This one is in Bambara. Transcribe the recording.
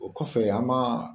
O kɔfɛ an ma